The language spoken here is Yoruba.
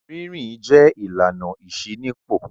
Rí rìn jẹ́ ìlànà ìṣínípò.